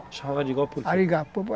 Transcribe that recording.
Chamava de arigó porque?